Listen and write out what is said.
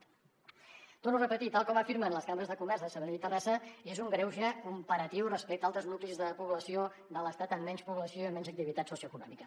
ho torno a repetir tal com afirmen les cambres de comerç de sabadell i terrassa és un greuge comparatiu respecte a altres nuclis de població de l’estat amb menys població i amb menys activitat socioeconòmica